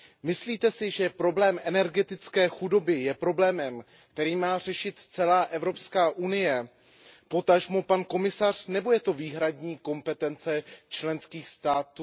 Myslíte si, že problém energetické chudoby je problémem, který má řešit celá EU, potažmo pan komisař, nebo je to výhradní kompetence členských států